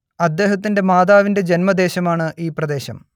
അദ്ദേഹത്തിന്റെ മാതാവിന്റെ ജന്മദേശമാണ് ഈ പ്രദേശം